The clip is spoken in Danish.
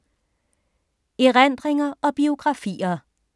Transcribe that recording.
Erindringer og biografier